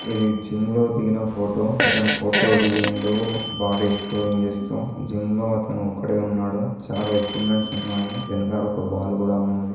ఇది జిమ్ లో దిగిన ఫోటో అతను ఫోటో దిగిండు బాడి ఎక్ష్పొసింగ్ జేస్తు జిమ్ లో అతను ఒక్కడే ఉన్నాడు చాలా ఏకిప్మెంట్స్ ఉన్నాయి వెనకాల ఒక బాల్ కూడ ఉన్నది.